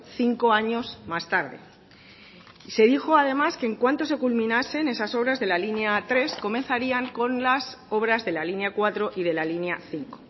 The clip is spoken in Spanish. cinco años más tarde y se dijo además que en cuanto se culminasen esas obras de la línea tres comenzarían con las obras de la línea cuatro y de la línea cinco